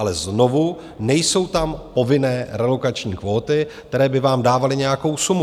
Ale znovu - nejsou tam povinné relokační kvóty, které by vám dávaly nějakou sumu.